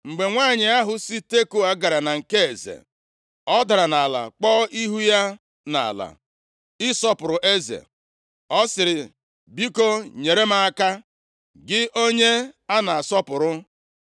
Mgbe nwanyị ahụ si Tekoa gara na nke eze, ọ dara nʼala kpuo ihu ya nʼala ịsọpụrụ eze. Ọ sịrị, “Biko nyere m aka, gị onye a na-asọpụrụ!”